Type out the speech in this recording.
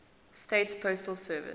states postal service